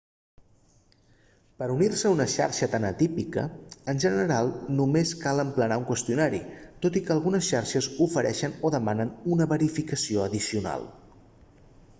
per unir-se a una xarxa tan atípica en general només cal emplenar un qüestionari tot i que algunes xarxes ofereixen o demanen una verificació addicional